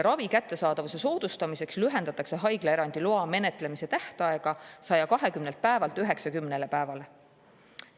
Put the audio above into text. Ravi kättesaadavuse soodustamiseks lühendatakse haiglaerandi loa menetlemise tähtaega 120 päevalt 90 päevale.